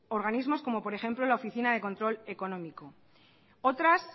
organismos como por ejemplo la oficina de control económico otras